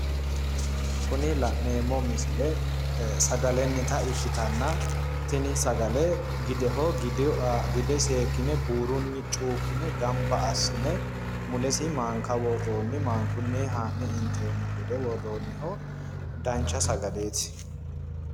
Kuni la'neemmo misile sagalennita ikkitanna tini sagale gideho, gide seekkine buurunni chuukkine gamba assine mulesi maanka woroonni maankunni ha'ne inteemmo gede woroonniho dancha sagaleeti.